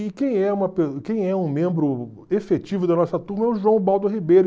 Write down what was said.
E quem é uma quem é um membro efetivo da nossa turma é o João Baldo Ribeiro.